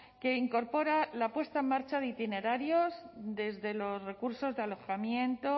que incorpora la puesta en marcha de itinerarios desde los recursos de alojamiento